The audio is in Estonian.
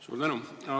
Suur tänu!